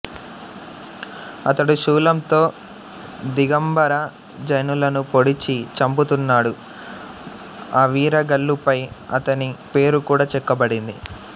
అతడు శూలంతో దిగంబర జైనులను పొడిచి చంపుతున్నాడు ఆవీరగల్లుపై అతని పేరుకూడ చెక్కబడింది